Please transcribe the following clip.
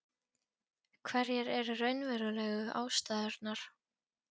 Hverjar eru raunverulegu ástæðurnar?